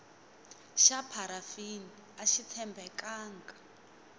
xa pharafini axi tshembekanga